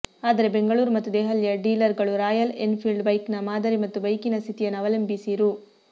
ಆದರೆ ಬೆಂಗಳೂರು ಮತ್ತು ದೆಹಲಿಯ ಡೀಲರ್ಗಳು ರಾಯಲ್ ಎನ್ಫೀಲ್ಡ್ ಬೈಕಿನ ಮಾದರಿ ಮತ್ತು ಬೈಕಿನ ಸ್ಥಿತಿಯನ್ನು ಅವಲಂಬಿಸಿ ರೂ